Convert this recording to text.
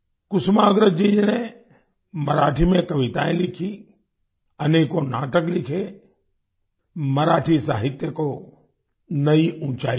कुसुमाग्रज जी ने मराठी में कवितायेँ लिखी अनेकों नाटक लिखे मराठी साहित्य को नई ऊँचाई दी